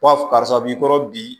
Fɔ karisa b'i kɔrɔ bi